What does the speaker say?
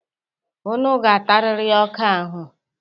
Unu ga-atarịrị ọka ahụ.